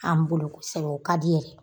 An b'o lɔn kosɛbɛ, o ka di yɛrɛ